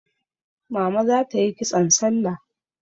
Mama za ta yi kitson salla.